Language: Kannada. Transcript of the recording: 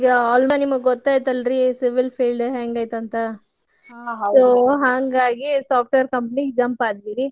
ನಿಮಗೀಗ ಆಲ್ದ ನಿಮಗ್ ಗೊತ್ತ ಐತಲ್ರಿ civil field ಹೆಂಗೈತಂತ. ಹಾಂಗಾಗಿ software company ಗೆ jump ಆದ್ವಿರಿ.